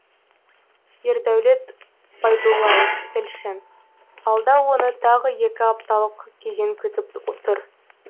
ердәулет байдуллаев тілші алда оны тағы екі апталық кезең күтіп тұр